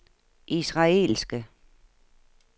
israelske